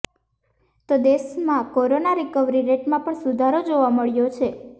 તો દેશમાં corona recovery રેટમાં પણ સુધારો જોવા માટે મળ્યો છે